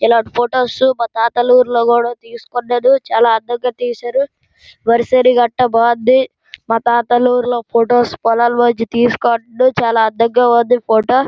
ఈ లాటివి photo shoot కూడా తీసుకున్నారు చల దగ్గర తీశారు సరే సరే అన్ని చాలా బాగున్నది మా తాత ఊరిలో ఫొటోస్ పోలాలెంలో తీసుకుంటున్నం చాలా అందంగా వుంది ఫోటో.